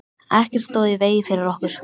Ekkert stóð í vegi fyrir okkur.